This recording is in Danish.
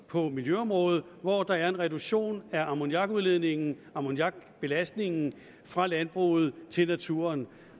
på miljøområdet hvor der er en reduktion af ammoniakudledningen ammoniakbelastningen fra landbruget til naturen